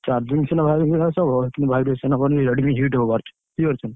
Charging ସିନା ହବ। କିନ୍ତୁ virus ନବନି Redmi heat ହବ ଭାରି। ବୁଝିପାରୁଛନା।